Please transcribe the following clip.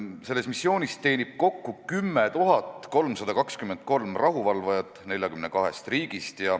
Selles teenib kokku 10 323 rahuvalvajat 42-st riigist.